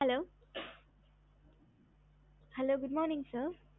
hello hello சொல்லுங்க mam